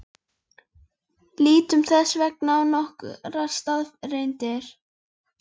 Lítum þess vegna á nokkrar staðreyndir.